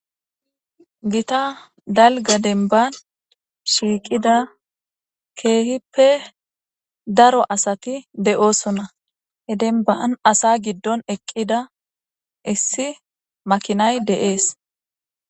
Gita dalga denban shiiqida keehippe daro asati de7oosonna he denban asa giddon eqqida issi makinay deees.